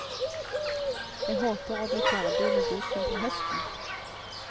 Jeg håper å bli ferdig med boken til høsten.